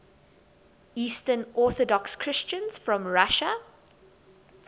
eastern orthodox christians from russia